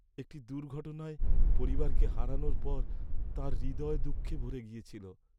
একটি দুর্ঘটনায় পরিবারকে হারানোর পর তাঁর হৃদয় দুঃখে ভরে গিয়েছিল।